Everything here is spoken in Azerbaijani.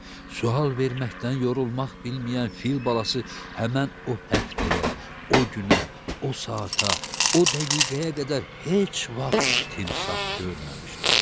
Sual verməkdən yorulmaq bilməyən fil balası həmən o həftəyə, o günə, o saata, o dəqiqəyə qədər heç vaxt timsah görməmişdi.